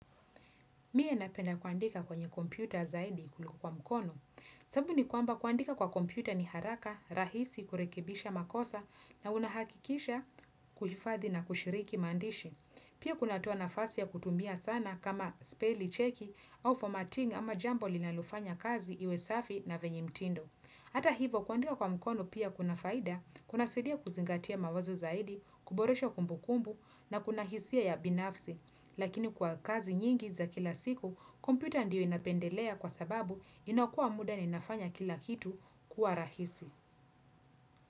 Mie napenda kuandika kwenye kompyuta zaidi kuliko kwa mkono. Sababu ni kwamba kuandika kwa kompyuta ni haraka, rahisi, kurekebisha makosa na unahakikisha kuhifadhi na kushiriki maandishi. Pia kunatoa nafasi ya kutumbia sana kama speli checki au formatting ama jambo linalofanya kazi iwe safi na venye mtindo. Hata hivo kuandika kwa mkono pia kuna faida kunasaidia kuzingatia mawazo zaidi, kuboresha kumbu kumbu na kuna hisia ya binafsi. Lakini kwa kazi nyingi za kila siku, kompyuta ndio napendelea kwa sababu inakua muda ni nafanya kila kitu kuwa rahisi.